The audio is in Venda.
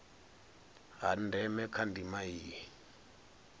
ha ndeme kha ndima iyi